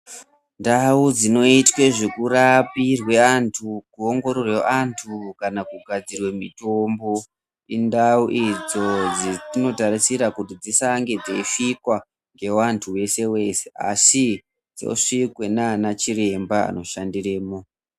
Ndau dzinoitwe zvekurapirwe antu kuoongororwa antu kana kugadzire mitombo indau idzo dzetinotarisira kuti dzisange dzichisvikwa ngevantu weshe weshe asi dzosvikwa ndiana chiremba anoshandiremo.